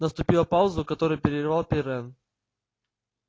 наступила пауза которую прервал пиренн